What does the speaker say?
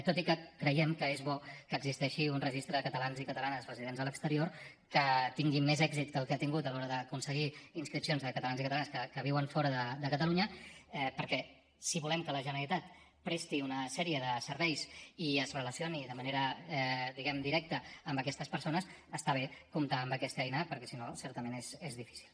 tot i que creiem que és bo que existeixi un registre de catalans i catalanes residents a l’exterior que tingui més èxit del que ha tingut a l’hora d’aconseguir inscripcions de catalans i catalanes que viuen fora de catalunya perquè si volem que la generalitat presti una sèrie de serveis i es relacioni de manera diguem ne directa amb aquestes persones està bé comptar amb aquesta eina perquè si no certament és difícil